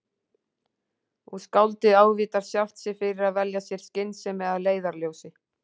Og skáldið ávítar sjálft sig fyrir að velja sér skynsemi að leiðarljósi.